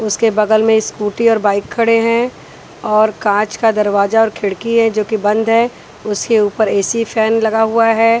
उसके बगल में स्कूटी और बाइक खड़े हैं और काँच का दरवाजा और खिड़की हैजोकि बंद है उसके ऊपर ए_सी फैन लगा हुआ है।